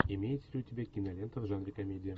имеется ли у тебя кинолента в жанре комедия